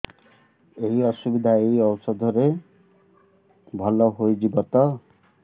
ଏଇ ଅସୁବିଧା ଏଇ ଔଷଧ ରେ ଭଲ ହେଇଯିବ ତ